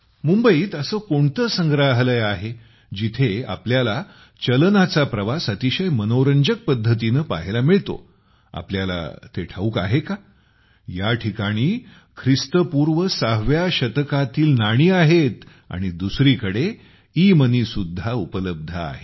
मुंबईत असे कोणते संग्रहालय आहे जिथे आपल्याला चलनाचा प्रवास अतिशय मनोरंजक पद्धतीने पाहायला मिळतो तुम्हाला ते ठाऊक आहे का या ठिकाणी ख्रिस्तपूर्व सहाव्या शतकातील नाणी आहेत आणि दुसरीकडे ईमनी सुद्धा उपलब्ध आहे